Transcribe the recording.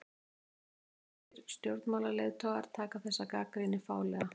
Sænskir stjórnmálaleiðtogar taka þessari gagnrýni fálega